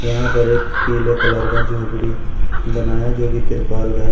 यहां पर एक पीले कलर का झोपड़ी बनाया जो कि तिरपाल का है।